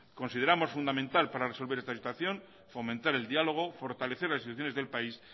consideramos fundamental para resolver esta situación fomentar el diálogo fortalecer las instituciones del país